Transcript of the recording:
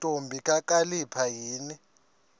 ntombi kakhalipha yini